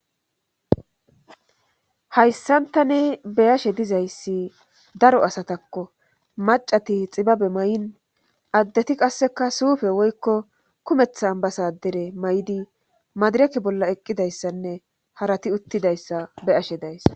hayssan tani beyashe dizayssi daro asatakko macati xibabe may7in addeti qasseka suufe woykko kumethth ambasadare may7di madireke bolla eqqidayssanne harati uttidayssa beyashe dayssa